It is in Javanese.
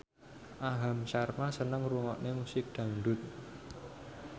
Aham Sharma seneng ngrungokne musik dangdut